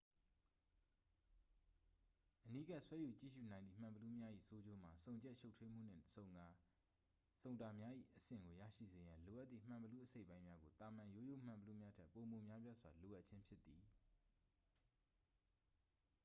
အနီးကပ် ဆွဲယူကြည့်ရူနိုင်သည့် မှန်ဘီလူးများ၏ ဆိုးကျိုးမှာ ဆုံချက်ရှုပ်ထွေးမှုနှင့် ဆုံတာများ၏ အဆင့်ကို ရရှိစေရန် လိုအပ်သည့် မှန်ဘီလူးအစိတ်အပိုင်းများကို သာမန်ရိုးရိုးမှန်ဘီလူးများထက် ပိုမိုများပြားစွာ လိုအပ်ခြင်းဖြစ်သည်